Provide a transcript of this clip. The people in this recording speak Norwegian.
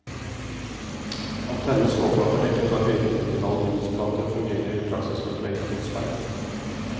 Antennenes overflate er dekket av høyreflektive aluminiumsplater og fungerer i praksis som et meget godt speil.